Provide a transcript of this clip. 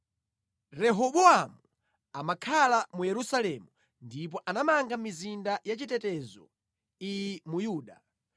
Rehobowamu amakhala mu Yerusalemu ndipo anamanga mizinda ya chitetezo iyi mu Yuda: